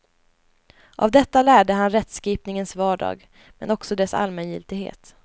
Av detta lärde han rättskipningens vardag men också dess allmängiltighet.